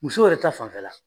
Musow yɛrɛ ta fanfɛla